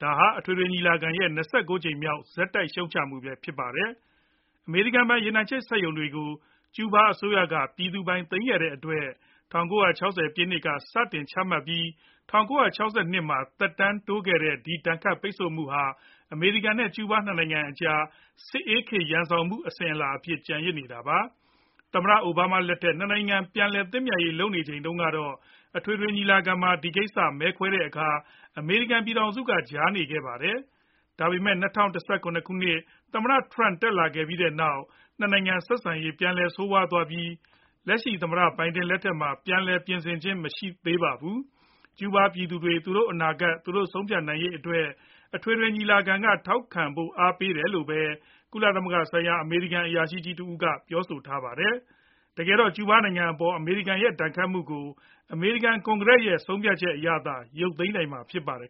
။ ဒါဟာ အထွေထွေညီလာခံရဲ့ ၂၉ ကြိမ်မြောက်ဆက်တိုက် ရှုတ်ချမှုလဲ ဖြစ်ပါတယ်။ အမေရိကန်ပိုင် ရေနံချက်စက်ရုံတွေကို ကျူးဘားအစိုးရက ပြည်သူပိုင်သိမ်း တဲ့အတွက် ၁၉၆၀ ပြည့်နှစ်က စတင်ချမှတ်ပြီး ၁၉၆၂ မှာ သက်တမ်းတိုးခဲ့တဲ့ ဒီဒဏ်ခတ်ပိတ်ဆို့မှုဟာ အမေရိကန် နဲ့ ကျူးဘား ၂ နိုင်ငံအကြား စစ်အေးခေတ်ရန်စောင်မှု အစဉ်အလာအဖြစ် ကျန်ရစ်နေတာပါ။ သမ္မတ အိုဘားမားလက်ထက် ၂ နိုင်ငံ ပြန်လည်သင့်မြတ်ရေး လုပ်နေချိန်တုံးကတော့ အထွေထွေညီလာခံမှာ ဒီကိစ္စမဲခွဲတဲ့ အခါ အမေရိကန်ပြည်ထောင်စုက ကြားနေခဲ့ပါတယ်။ ဒါပေမဲ့ ၂၀၁၇ မှာ သမ္မတ ထရမ့် တက်လာပြီးတဲ့နောက် ၂ နိုင်ငံဆက်ဆံရေး ပြန်လည်ဆိုးရွားသွားပြီး လက်ရှိသမ္မတ ဘိုင်ဒန် လက်ထက်မှာ ပြန်လည်ပြင်ဆင်ခြင်းမရှိသေးပါဘူး။ ကျူးဘားပြည်သူတွေ သူတို့အနာဂတ်သူတို့ဆုံးဖြတ်နိုင်ရေးအတွက် အထွေထွညီလာခံက ထောက်ခံဖို့အားပေးတယ်လို့ ပဲ ကုလဆိုင်ရာအမေရိကန်အရာရှိကြီးတဦးကပြောထားပါတယ်။ တကယ်တော့ ကျူးဘားနိုင်ငံအပေါ် အမေရိကန်ရဲ့ ဒဏ်ခတ်မှုကို အမေရိကန် ကွန်ဂရက်လွှတ်တော်ရဲ့ ဆုံးဖြတ်ချက်အရသာ ရုပ်သိမ်းနိုင်မှာ ဖြစ်ပါတယ်